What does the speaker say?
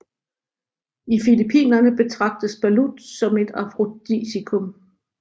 I Filippinerne betragtes balut som et afrodisiakum